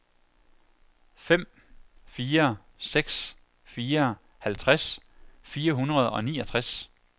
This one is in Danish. fem fire seks fire halvtreds fire hundrede og niogtres